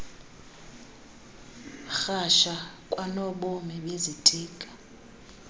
rhasha kwanobomi bezitika